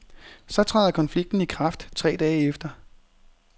Så træder konflikten i kraft tre dage efter.